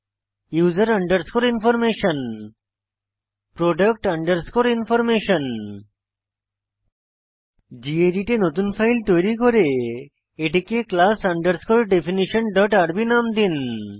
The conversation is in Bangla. উসের underscore information product underscore information gedit এ নতুন ফাইল তৈরি করে এটিকে class definitionrb নাম দিন